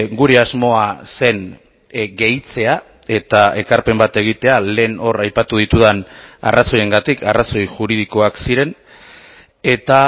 gure asmoa zen gehitzea eta ekarpen bat egitea lehen hor aipatu ditudan arrazoiengatik arrazoi juridikoak ziren eta